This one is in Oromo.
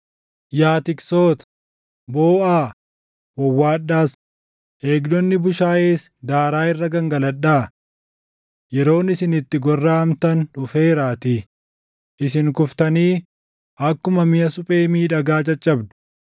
Yaa tiksoota, booʼaa, wawwaadhaas; eegdonni bushaayees daaraa irra gangaladhaa. Yeroon isin itti gorraʼamtan dhufeeraatii; isin kuftanii akkuma miʼa suphee miidhagaa caccabdu.